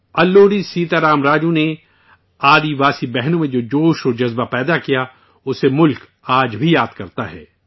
الوری سیتا رام راجو نے آدیواسی بھائی بہنوں میں جو بیداری پیدا کی، اسے ملک آج بھی یاد کرتا ہے